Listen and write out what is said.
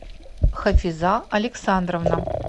хафиза александровна